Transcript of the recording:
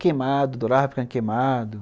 Queimado, dorava brincar de queimado.